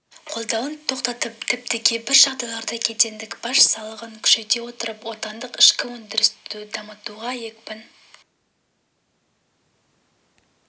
қолдауын тоқтатып тіпті кейбір жағдайларда кедендік баж салығын күшейте отырып отандық ішкі өндірісті дамытуға екпін